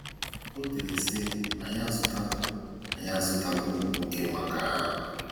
O dere sị, “Anyị azụtala “Anyị azụtala ụmụ nwoke maka agha.